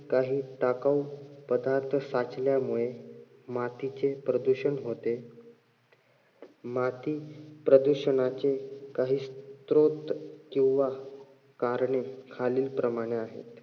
काही टाकाऊ पदार्थ साचल्यामुळे मातीचे प्रदूषण होते. माती प्रदूषणाचे काही किंवा करणे खालील प्रमाणे आहेत.